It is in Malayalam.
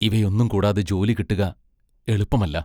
ഇവയൊന്നും കൂടാതെ ജോലി കിട്ടുക എളുപ്പമല്ല.